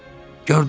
Gördün?